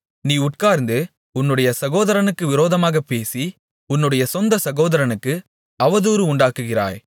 நீ உட்கார்ந்து உன்னுடைய சகோதரனுக்கு விரோதமாகப் பேசி உன்னுடைய சொந்த சகோதரனுக்கு அவதூறு உண்டாக்குகிறாய்